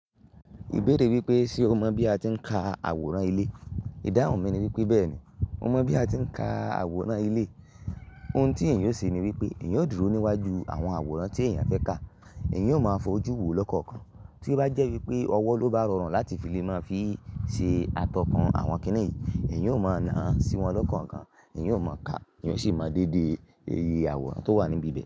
Ìbéèrè wípé ṣe o mọ̀ bí a ti ń ka àwòrán ilé? Ìdáhùn mi ni wípé bẹ́ẹ̀ni mo mọ̀ bí a ti ń ka àwòrán ilé. Ohun tí èèyàn yóò ṣe ni wípé èèyàn yóò dúró níwájú àwọn àwòrán tí èèyàn fẹ́ ka. Èèyàn yóò máa fojú wò lọ́kànkan. Tí ó bá jẹ́ wípé ọwọ́ ló bá rọrùn láti fi lé náà fi ṣe atọ́kàn àwọn kínní yìí, èèyàn yóò máa na sí wọn lọ́kànkan. Èèyàn yóò máa ka, èèyàn sì máa dèédèè ẹyẹ àwòrán tó wà níbi díẹ̀